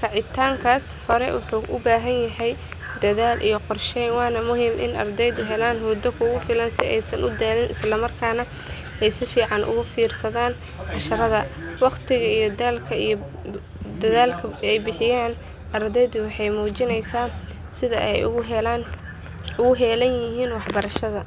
kacitankas wana muhiim in isla markasnah ee katagan cashiraada waqtiga iyo dadhalka ardeyda barashaada.